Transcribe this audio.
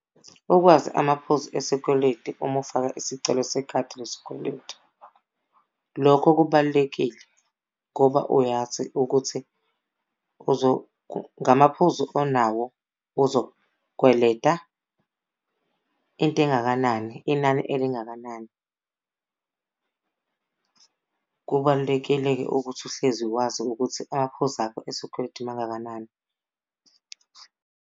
Ukwazi amaphuzu esikweletu uma ufaka isicelo sekhadi lesikweletu. Lokho kubalulekile ngoba uyazi ukuthi ngamaphuzu onawo uzokweleta into engakanani, inani elingakanani. Kubalulekile-ke ukuthi uhlezi wazi ukuthi amaphuzu akho esikweletu mangakanani .